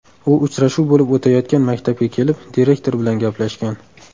U uchrashuv bo‘lib o‘tayotgan maktabga kelib, direktor bilan gaplashgan.